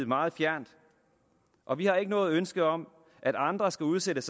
meget fjernt og vi har ikke noget ønske om at andre skal udsættes